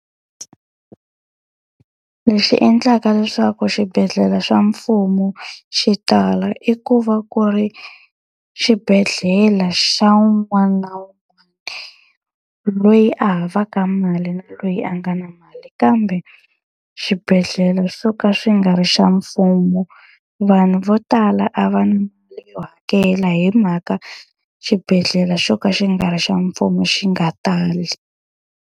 Lexi endlaka leswaku xibedhlele xa mfumo xi tala i ku va ku ri xibedhlele xa un'wana na un'wana, loyi a havaka mali loyi a nga na mali. Kambe xibedhlele xo ka xi nga ri xa mfumo, vanhu vo tala a va na mali yo hakela hi mhaka xibedhlele xo ka xi nga ri xa mfumo xi nga tali.